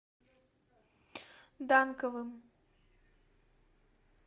данковым